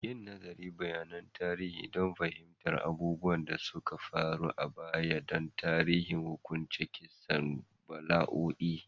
Yi nazarin bayanan tarihi don fahimtar abubuwan da suka faru a baya da tasirin hukuncin kisa, bala'o'i